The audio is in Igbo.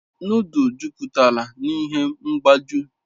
Nodul juputalu n'ihe mgbaju